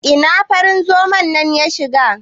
Ina farin zoman nan ya shiga?